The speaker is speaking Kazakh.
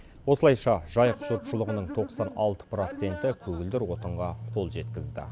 осылайша жайық жұртшылығының тоқсан алты проценті көгілдір отынға қол жеткізді